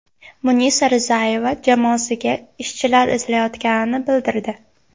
Munisa Rizayeva jamoasiga ishchilar izlayotganini bildirdi.